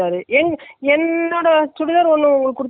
actually நீங்க கொடுத்த அந்த பச்சை color லாம் போடவே இல்லை.